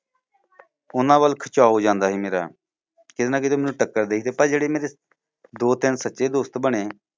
ਉਨ੍ਹਾਂ ਵੱਲ ਖਿਚਾਓ ਜਾਂਦਾ ਸੀ ਮੇਰਾ। ਕੀਤੇ ਨਾ ਕੀਤੇ ਮੈਨੂੰ ਟੱਕਰ ਦੇ ਸੀ। ਤੇ ਪਰ ਜਿਹੜੇ ਮੇਰੇ ਦੋ ਤਿੰਨ ਸੱਚੇ ਦੋਸਤ ਬਣੇ